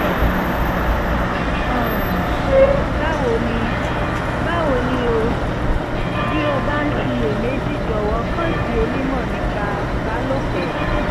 um báwo ni báwo ni o? bí o bá ń ṣiyèméjì jọ̀wọ́ kàn sí onímọ̀ nípa ìbálòpọ̀